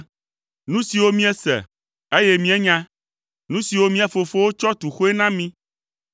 Nu siwo míese, eye míenya, nu siwo mía fofowo tsɔ tu xoe na mí.